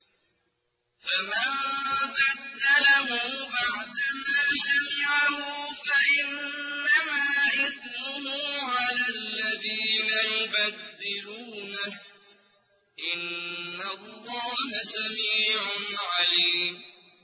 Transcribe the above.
فَمَن بَدَّلَهُ بَعْدَمَا سَمِعَهُ فَإِنَّمَا إِثْمُهُ عَلَى الَّذِينَ يُبَدِّلُونَهُ ۚ إِنَّ اللَّهَ سَمِيعٌ عَلِيمٌ